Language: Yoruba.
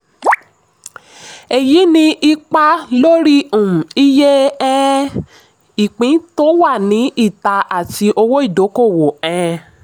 èyí ní ipa lórí um iye ìpín um tó wà ní ìta àti owó ìdókòwò. um